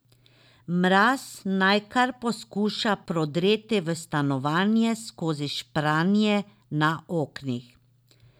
Mraz naj kar poskuša prodreti v stanovanje skozi špranje na oknih.